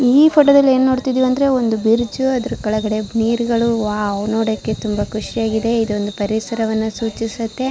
ಈ ಫೋಟೋ ದಲ್ಲಿ ಏನು ನೋಡ್ತಿದ್ದೀವಿ ಅಂದ್ರೆ ಒಂದು ಬ್ರಿಡ್ಜ್ ಅದರ ಕೆಳಗಡೆ ನೀರುಗಳು ವಾವ್ ನೋಡಕೆ ತುಂಬಾ ಖುಷಿಯಾಗಿದೆ ಇದೊಂದು ಪರಿಸರವನ್ನ ಸೂಚಿಸುತ್ತೆ.